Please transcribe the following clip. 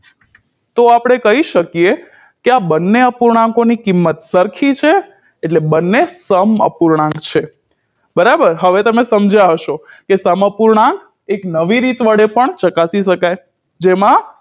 તો આપણે કહી શકીએ કે આ બંને અપૂર્ણાંકોની કિંમત સરખી છે એટલે બંને સમઅપૂર્ણાંક છે બરાબર હવે તમે સમજ્યા હશો કે સમઅપૂર્ણાંક એક નવી રીતે પણ ચકાસી શકાય જેમાં